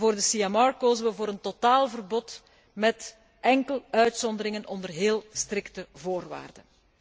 voor de CMR kozen we voor een totaalverbod met enkel uitzonderingen onder heel strikte voorwaarden.